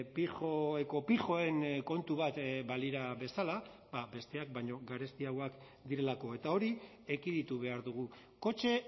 pijo ekopijoen kontu bat balira bezala besteak baino garestiagoak direlako eta hori ekiditu behar dugu kotxe